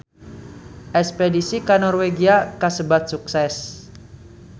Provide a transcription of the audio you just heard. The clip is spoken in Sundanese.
Espedisi ka Norwegia kasebat sukses